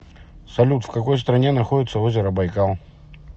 салют в какой стране находится озеро байкал